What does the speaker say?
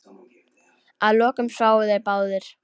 Að lokum sváfu þeir báðir.